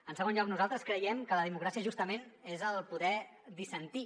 en segon lloc nosaltres creiem que la democràcia justament és el poder dissentir